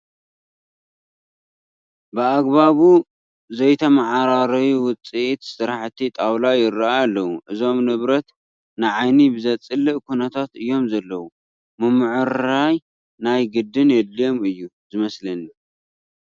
ብኣግባቡ ዝይተመዓራረዩ ውፅኢ ስራሐ ጣዋላ ይርአዩ ኣለዉ፡፡ እዞም ንብረት ንዓይኒ ብዘፅልእ ኩነታት እዮም ዘለዉ፡፡ ምምዕርራይ ናይ ግድን የድልዮም እዩ ዝመስለኒ፡፡